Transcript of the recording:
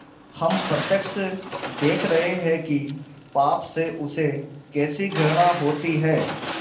हम प्रत्यक्ष देख रहे हैं कि पाप से उसे कैसी घृणा होती है